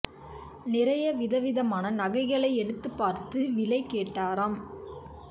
நிறைய வித விதமான நகைகளை எடுத்து பார்த்து விலை கேட்டாராம்